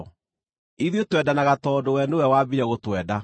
Ithuĩ twendanaga tondũ we nĩwe waambire gũtwenda.